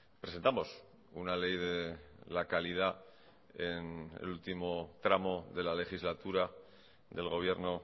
presentamos una ley de la calidad en el último tramo de la legislatura del gobierno